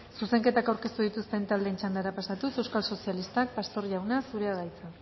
zuzenketak aurkeztu dituzten taldeen txandara pasatuz euskal sozialistak pastor jauna zurea da hitza